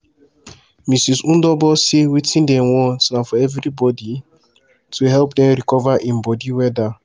mrs. ndobor say wetin dem want na for evribodi to help dem recover im bodi weda